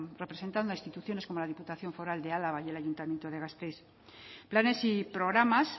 representando a instituciones como la diputación foral de álava el ayuntamiento de gasteiz planes y programas